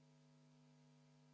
Läheme tänase istungiga edasi.